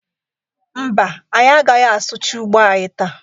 Mba, anyị agaghị asụcha ugbo anyị taa.